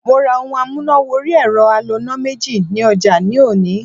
Mo ra ohun amúnà wọrí ẹ̀rọ aloná méjì ní ọjà ní òní.